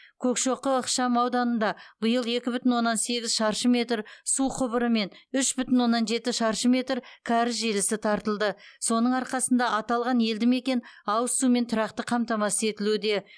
көкшоқы ықшамауданында биыл екі бүтін оннан сегіз шаршы метр су құбыры мен үш бүтін оннан жеті шаршы метр кәріз желісі тартылды соның арқасында аталған елді мекен ауыз сумен тұрақты қамтамасыз етілуде